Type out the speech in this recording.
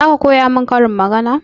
Zaka koya mun karin magana?